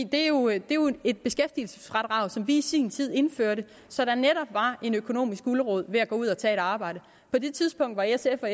det er jo et beskæftigelsesfradrag som vi i sin tid indførte så der netop var en økonomisk gulerod ved at gå ud og tage et arbejde på det tidspunkt var s og